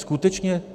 Skutečně?